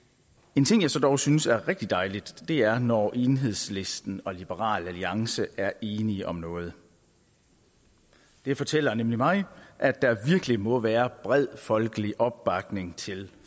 en ting som jeg dog synes er rigtig dejligt er når enhedslisten og liberal alliance er enige om noget det fortæller nemlig mig at der virkelig må være bred folkelig opbakning til